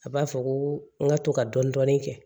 A b'a fɔ ko n ka to ka dɔɔnin dɔɔnin kɛ